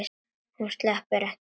Hún sleppur ekki út.